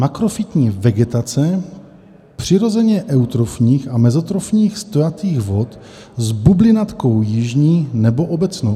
Makrofytní vegetace přirozeně eutrofních a mezotrofních stojatých vod s bublinatkou jižní nebo obecnou.